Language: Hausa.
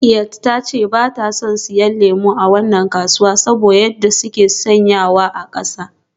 Rakkiat ta ce ba ta son siyan lemu a wannan kasuwa saboda yadda suke sanyawa a kasa.